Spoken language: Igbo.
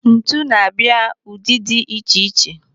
Ntu na-abịa ụdị dị iche iche.